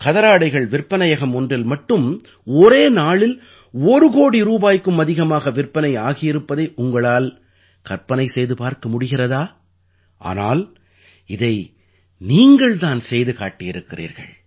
கதராடைகள் விற்பனையகம் ஒன்றில் மட்டும் ஒரே நாளில் ஒரு கோடி ரூபாய்க்கும் அதிகமாக விற்பனை ஆகியிருப்பதை உங்களால் கற்பனை செய்து பார்க்க முடிகிறதா ஆனால் இதை நீங்கள் தான் செய்து காட்டியிருக்கிறீர்கள்